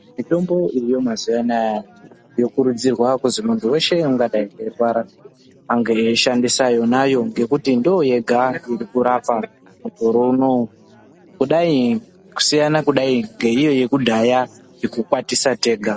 Mitombo iriyo mazuwa anaya yokurudzirwa kuzi munhu weshe ungadai eirwara ange eishandisa yonayo ngekuti ndoyega irikurapa mukore unowu kudai kusiyana kudai ngeiyo yekudhaya yekukwatisa tega.